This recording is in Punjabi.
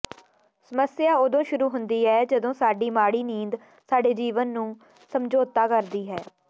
ਸਮੱਸਿਆ ਉਦੋਂ ਸ਼ੁਰੂ ਹੁੰਦੀ ਹੈ ਜਦੋਂ ਸਾਡੀ ਮਾੜੀ ਨੀਂਦ ਸਾਡੇ ਜੀਵਨ ਨੂੰ ਸਮਝੌਤਾ ਕਰਦੀ ਹੈ